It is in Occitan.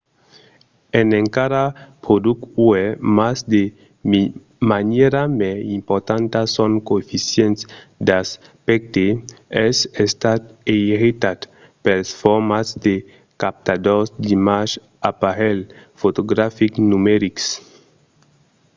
es encara produch uèi mas de manièra mai importanta son coeficient d'aspècte es estat eiretat pels formats de captadors d'imatge d'aparelhs fotografics numerics